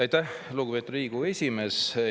Aitäh, lugupeetud Riigikogu esimees!